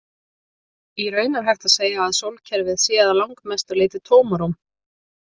Í raun er hægt að segja að sólkerfið sé að langmestu leyti tómarúm.